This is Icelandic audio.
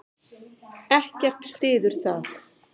Ekkert styður það.